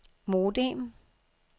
modem